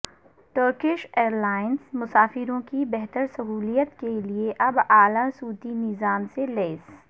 Turkish ایئرلائنزمسافروں کی بہترسہولت کےلیے اب اعلی صوتی نظام سے لیس